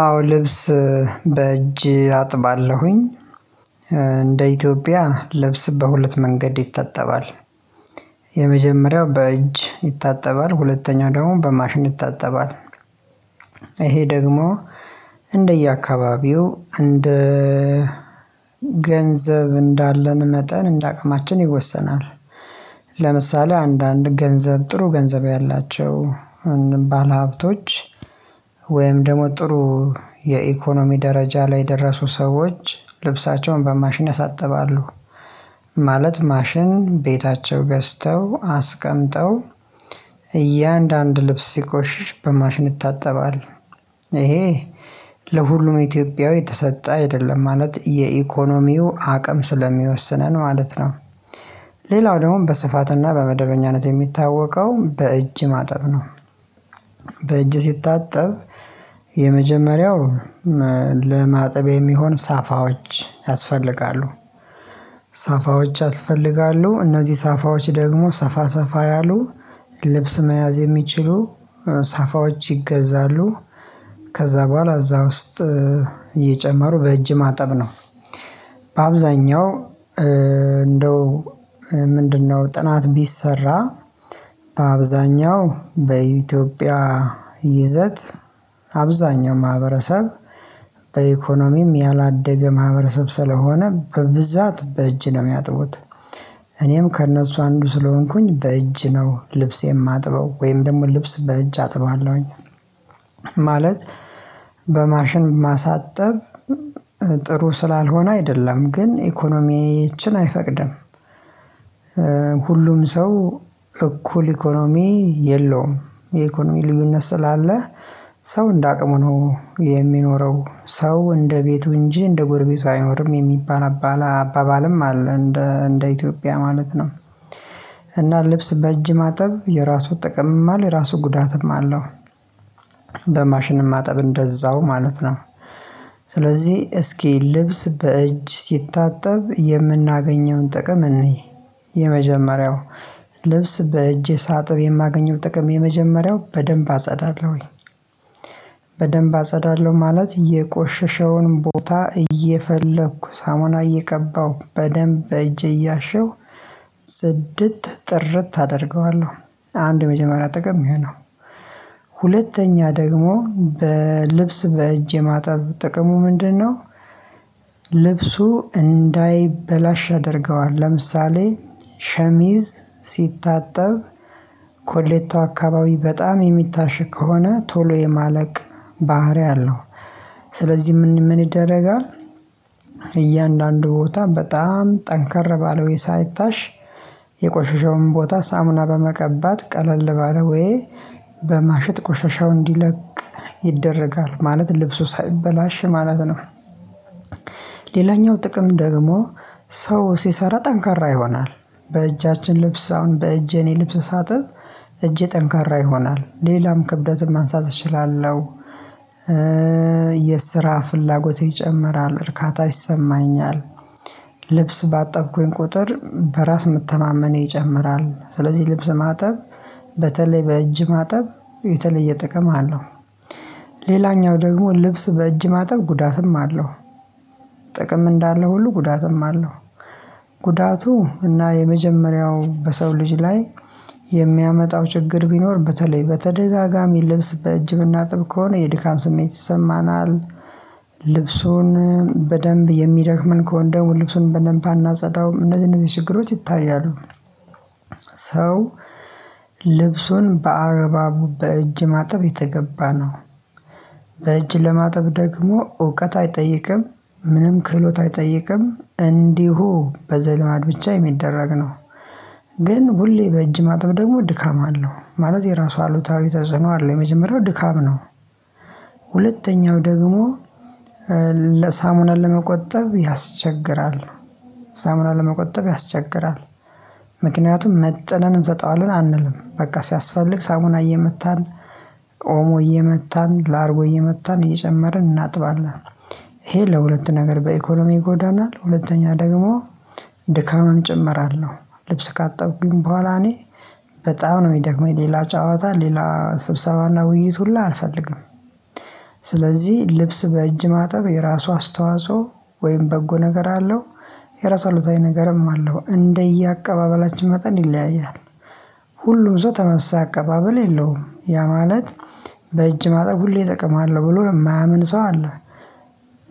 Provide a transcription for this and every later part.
አዎ ልብስ በእጅ አጥባለሁኝ። እንደ ኢትዮጵያ ልብስ በሁለት መንገድ ይታጠባል። የመጀመሪያው በእጅ ይታጠባል ሁለተኛው ደግሞ በማሽን ይታጠባል። ይሄ ደግሞ እንደየአካባቢው እንደ ገንዘብ እንዳለን መጠን እንደ አቅማችን ይወሰናል። ለምሳሌ አንዳንድ ገንዘብ ጥሩ ገንዘብ ያላቸው ባለሀብቶች ወይም ደግሞ ጥሩ የኢኮኖሚ ደረጃ ላይ የደረሱ ሰዎች ልብሳቸውን በማሽን ያሳጥባሉ ማለት ማሽን ቤታቸው ገዝተው አስቀምጠው እያንዳንዱ ልብስ ሲቆሽሽ በማሽን ይታጠባል። ይሄ ለሁሉም ኢትዮጵያዊ የተሰጠ አይደለም ማለት የኢኮኖሚው አቅም ስለሚወስነን ማለት ነው። ሌላው ደግሞ በስፋትና በመደበኛነት የሚታወቀው በእጅ ማጠብ ነው። በእጅ ሲታጠብ የመጀመሪያው ለማጠብ የሚሆን ሳፋዎች ያስፈልጋሉ። ሳፋዎች ያስፈልጋሉ እነዚህ ሳፋዎች ደግሞ ሰፋ ሰፋ ያሉ ልብስ መያዝ የሚችሉ ሳፋዎች ይገዛሉ ከዛ በኋላ እዛ ውስጥ እየጨመሩ በእጅ ማጠብ ነው። አብዛኛው እንደው ምንድነው ጥናት ቢሰራ አብዛኛው በኢትዮጵያ ይዘት አብዛኛው ማህበረሰብ በኢኮኖሚም ያላደገ ማህበረሰብ ስለሆነ በብዛት በእጅ ነው የሚያጥቡት። እኔም ከእነሱ አንዱ ስለሆንኩኝ በእጅ ነው ልብሴ የማጥበው ወይም ደግሞ ልብስ በእጅ አጥባለሁኝ። ማለት በማሽን ማሳጠብ ጥሩ ስላልሆነ አይደለም ግን ኢኮኖሚያችን አይፈቅድም። ሁሉም ሰው እኩል ኢኮኖሚ የለውም የኢኮኖሚ ልዩነት ስላለ ሰው እንደ አቅሙ ነው የሚኖረው ሰው እንደ ቤቱ እንጂ እንደ ጎርቤቱ አይኖርም የሚባል አባባልም አለ። እንደ ኢትዮጵያ ማለት ነው። እና ልብስ በእጅ ማጠብ የራሱ ጠቀምም አለ የራሱ ጉዳትም አለው። በማሽን ማጠብ እንደዛው ማለት ነው። ስለዚህ እስኪ ልብስ በእጅ ሲታጠብ የምናገኘውን ጥቅም እንይ የመጀመሪያው ልብስ በእጅ ሳጥብ የማገኘው ጥቅም የመጀመሪያው በደንብ አጸዳለሁኝ። በደንብ አጸዳለሁ ማለት የቆሸሸውን ቦታ እየፈለኩ ሳሙና እየቀባሁ በደንብ በእጄ እያሸሁ ጽድት ጥርት አደርገዋለሁ አንድ የመጀመሪያ ጥቅም የሚሆነው ሁለተኛ ደግሞ በልብስ በእጄ ማጣብ ጥቅሙ ምንድነው? ልብሱ እንዳይበላሽ ያደርገዋል ለምሳሌ ሸሚዝ ሲታጠብ ኮሌታው አካባቢ በጣም የሚታሸ ከሆነ ቶሎ የማለቅ ባህሪ አለው። ስለዚህ ምን ምን ይደረጋል እያንዳንዱ ቦታ በጣም ጠንከር ባለው ሳይታሽ የቆሸሸውን ቦታ ሳሙና በመቀባት ቀለል ባለው ወይ በማሸጥት ቆሻሻው እንዲለቅ ይደረጋል ማለት ልብሱ ሳይበላሽ ማለት ነው። ሌላኛው ጥቅም ደግሞ ሰው ሲሰራ ጠንካራ ይሆናል በእጃችን ልብስ አሁን በእጄ የኔ ልብስ ሳጥብ እጄ ጠንካራ ይሆናል ሌላም ክብደትም ማንሳት እችላለሁ። የስራ ፍላጎት ይጨምራል እርካታ ይሰማኛል። ልብስ ባጠብኩኝ ቁጥር በራስ መተማመን ይጨምራል ስለዚህ ልብስ ማጠብ በተለይ በእጅ ማጠብ የተለየ ጥቅም አለው። ሌላኛው ደግሞ ልብስ በእጅ ማጠብ ጉዳትም አለው። ጥቅም እንዳለ ሁሉ ጉዳትም አለው። ጉዳቱ እና የመጀመሪያው በሰው ልጅ ላይ የሚያመጣው ችግር ቢኖር በተለይ በተደጋጋሚ ልብስ በእጅህ ብናጥብ ከሆነ የድካም ስሜት ይሰማናል። ልብሱን በደንብ የሚደክመን ከሆነ ድገሞ ልብሱን በደንብ አናጸዳውም እነዚህ እነዚህ ችግሮች ይታያሉ። ሰው ልብሱን በአግባቡ በእጅ ማጠብ የተገባ ነው። በእጅ ለማጠብ ደግሞ እውቀት አይጠይቅም ምንም ክህሎት አይጠይቅም እንዲሁ በዘልማድ ብቻ የሚደረግ ነው። ግን ሁሌ በእጅ ማጥብ ደግሞ ድካም አለው ማለት የራሱ አሉታዊ ተጽዕኖ አለው የመጀመሪያው ድካም ነው። ሁለተኛው ደግሞ ለሳሙና ለመቆጠብ ያስቸግራል። ሳሙና ለመቆጠብ ያስቸግራል። ምክንያቱም መጥነን እንሰጠዋለን አንልም በቃ ሲያስፈልግ ሳሙና እየመታን ኦሞ እየመታን ላርጎ እየመታን እየጨመርን እናጥባለን። ይሄ ለሁለት ነገር በኢኮኖሚ ጎዳና ሁለተኛ ደግሞ ድካምን እጨምራለሁ ልብስ ካጠብኩኝ በኋላ እኔ በጣም ነው የሚደክመኝ ሌላ ጨዋታ ሌላ ስብሰባና ውይይት ሁላ አልፈልግም። ስለዚህ ልብስ በእጅ ማጠብ የራሱ አስተዋጽኦ ወይም በጎ ነገር አለው። የራሳሉ አሉታዊ ነገርም አለው እንደየአቀባበላችን መጠን ይለያያል። ሁሉም ሰው ተመሳሳይ አቀባበል የለውም ያ ማለት በእጅ ማጠብ ሁሌ እጠቀማለሁ ብሎ የማያምን ሰው አለ።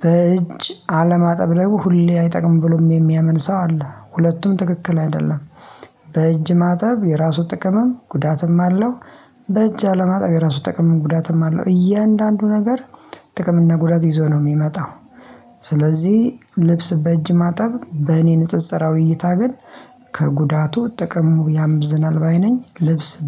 በእጅ አለማጠብ ላይ ሁሌ አይጠቅምም ብሎም የሚያምን ሰው አለ ሁለቱም ትክክል አይደለም። በእጅ ማጠብ የራሱ ጥቅምም ጉዳትም አለው። በእጅ አለማጣብ የራሱ ጥቅምም ጉዳትም አለው እያንዳንዱ ነገር ጥቅም እና ጉዳት ይዞ ነው የሚመጣው። ስለዚህ ልብስ በእጅ ማጠብ በእኔ ንጽጽራዊ እይታ ግን ከጉዳቱ ጥቅሙ ያመዝናል ባይ ነኝ። ልብስ